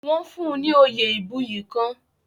Wọ́n fún un ni oyè ìbuyì kan.